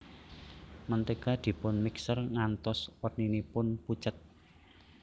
Mentega dipun mixer ngantos werninipun pucet